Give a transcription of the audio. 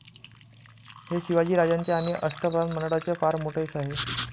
हे शिवाजीराजांचे आणि अष्टप्रधानमंडळाचे फार मोठे यश आहे.